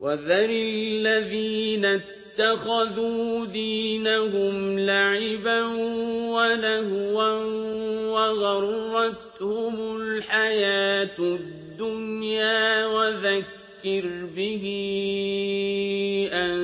وَذَرِ الَّذِينَ اتَّخَذُوا دِينَهُمْ لَعِبًا وَلَهْوًا وَغَرَّتْهُمُ الْحَيَاةُ الدُّنْيَا ۚ وَذَكِّرْ بِهِ أَن